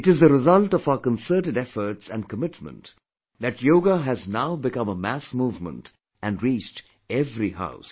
It is the result of our concerted efforts and commitment that Yoga has now become a mass movement and reached every house